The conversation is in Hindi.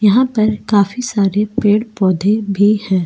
यहां पर काफी सारे पेड़-पौधे भी हैं।